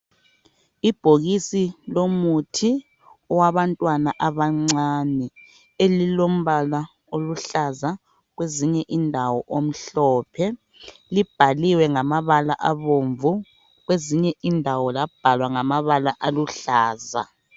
Ibhokisi lomuthi wabantwana abancane elilombala oluhlaza kwezinye indawo omhlophe. Libhaliwe ngamabala abomvu kwezinye indawo labhalwa ngamabala aluhlaza.